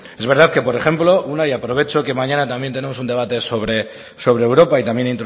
es verdad que por ejemplo una y aprovecho que mañana también tenemos un debate sobre europa y también